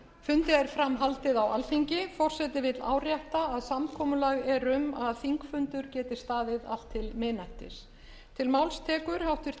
fundi er fram haldið á alþingi forseti vill árétta að samkomulag er um að þingfundur geti staðið allt til